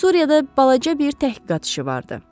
Suriyada balaca bir təhqiqat işi vardı.